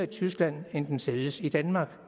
tyskland end den sælges i danmark